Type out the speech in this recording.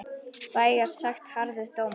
Vægast sagt harður dómur.